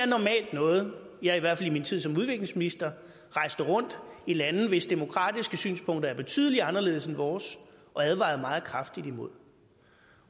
normalt noget jeg i hvert fald i min tid som udviklingsminister rejste rundt i lande hvis demokratiske synspunkter er betydelig anderledes end vores og advarede meget kraftigt imod